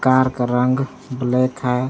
Car का रंग black है।